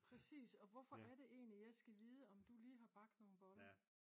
præcis og hvorfor er det egentlig at jeg skal vide om du lige har bagt nogle boller